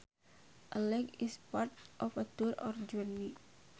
A leg is part of a tour or journey